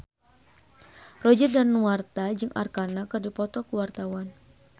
Roger Danuarta jeung Arkarna keur dipoto ku wartawan